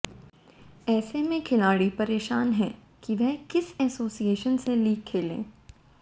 ऐसे में अब खिलाड़ी परेशान हैं कि वह किस एसोसिएशन से लीग खेले